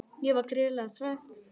Ég var gríðarlega svekkt.